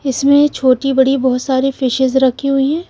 इसमें छोटी बड़ी बहोत सारी फिशेस रखी हुई है।